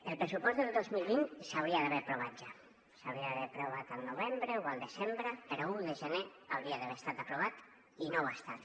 el pressupost del dos mil vint s’hauria d’haver aprovat ja s’hauria d’haver aprovat al novembre o al desembre però a un de gener hauria d’haver estat aprovat i no ho ha estat